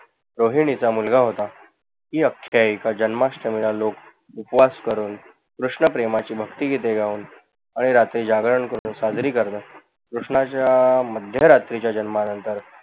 रोहीनीचा मुलगा होता. ही अख्याइका जन्माष्टमीला लोक उपवास करून, कृष्ण प्रेमाची भक्तीगीत गाऊन, अहोरात्री जागरण करून साजरी करतात. कृष्णाच्या मध्य रात्रीच्या जन्मानंतर